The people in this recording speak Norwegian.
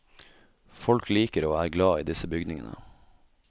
Folk liker og er glad i disse bygningene.